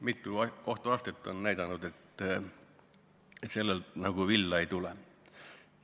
Mitu kohtuastet on näidanud, et sellelt juhtumilt nagu villa ei tule.